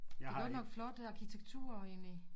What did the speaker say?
Det er godt nok flot arkitektur egentlig